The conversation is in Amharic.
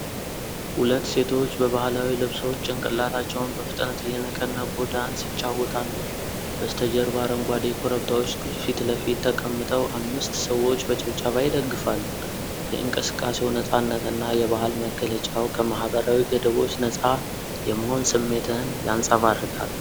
ሁለት ሴቶች በባህላዊ ልብሶች ጭንቅላታቸውን በፍጥነት እየነቀነቁ ዳንስ ይጫወታሉ። በስተጀርባ አረንጓዴ ኮረብታዎች ፊት ለፊት ተቀምጠው አምስት ሰዎች በጭብጨባ ይደግፋሉ። የእንቅስቃሴው ነፃነት እና የባህል መግለጫው ከማህበራዊ ገደቦች ነፃ የመሆን ስሜትን ያንፀባርቃል።